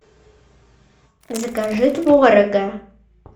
закажи творога